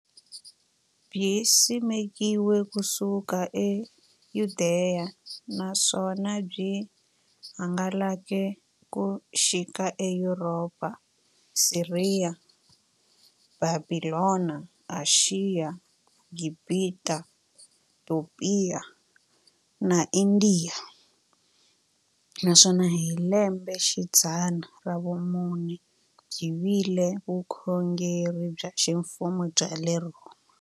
Byisimekiwe ku suka e Yudeya, naswona byi hangalake ku xika e Yuropa, Siriya, Bhabhilona, Ashiya, Gibhita, Topiya na Indiya, naswona hi lembexidzana ra vumune byi vile vukhongeri bya ximfumo bya le Rhoma.